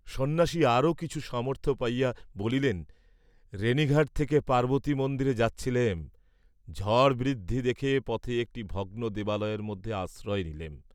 সন্ন্যাসী আরও কিছু সামর্থ্য পাইয়া বলিলেন, "রেণীঘাট থেকে পার্ব্বতী মন্দিরে যাচ্ছিলেম, ঝড় বৃদ্ধি দেখে পথে একটী ভগ্ন দেবালয়ের মধ্যে আশ্রয় নিলেম।"